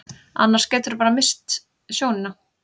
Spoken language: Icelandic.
Annars geturðu bara misst sjónina.